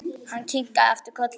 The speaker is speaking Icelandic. Hann kinkaði aftur kolli.